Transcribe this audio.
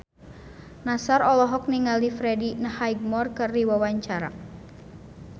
Nassar olohok ningali Freddie Highmore keur diwawancara